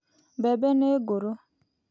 Mbembe nĩ ngũrũ.